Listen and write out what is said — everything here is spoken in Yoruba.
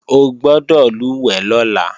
O gbọ́dọ̀ lùwẹ̀ lọ́la!